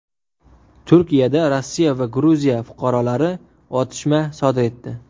Turkiyada Rossiya va Gruziya fuqarolari otishma sodir etdi.